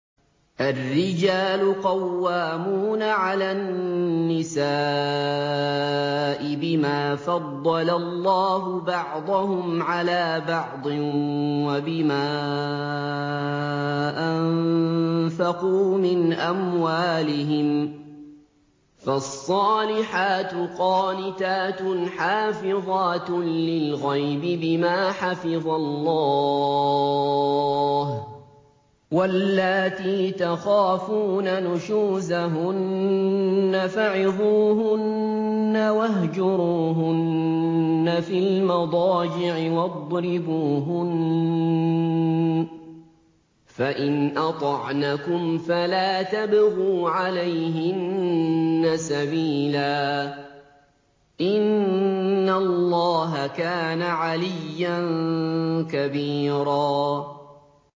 الرِّجَالُ قَوَّامُونَ عَلَى النِّسَاءِ بِمَا فَضَّلَ اللَّهُ بَعْضَهُمْ عَلَىٰ بَعْضٍ وَبِمَا أَنفَقُوا مِنْ أَمْوَالِهِمْ ۚ فَالصَّالِحَاتُ قَانِتَاتٌ حَافِظَاتٌ لِّلْغَيْبِ بِمَا حَفِظَ اللَّهُ ۚ وَاللَّاتِي تَخَافُونَ نُشُوزَهُنَّ فَعِظُوهُنَّ وَاهْجُرُوهُنَّ فِي الْمَضَاجِعِ وَاضْرِبُوهُنَّ ۖ فَإِنْ أَطَعْنَكُمْ فَلَا تَبْغُوا عَلَيْهِنَّ سَبِيلًا ۗ إِنَّ اللَّهَ كَانَ عَلِيًّا كَبِيرًا